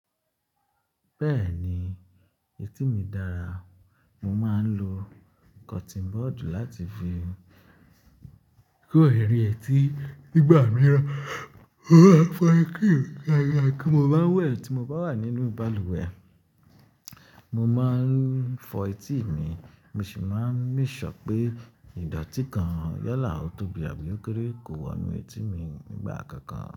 Bẹ́ẹ̀ni, etí mi dára. Mo máa ń lo cotton bud láti fi kó eeri etí nígbà mìíràn. Ó ma n fa tí mo bá n wẹ̀ tí mo bá wà nínú balùwẹ̀. Mo máa ń fọ etí mi, mo sì máa ń make sure pé ìdọ̀tí kan yálà, ò tóbí àbí ó kéré kò wonú etí mi nígbà kankan.